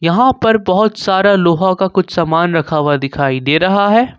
यहां पर बहुत सारा लोहा का कुछ सामान रखा हुआ दिखाई दे रहा है।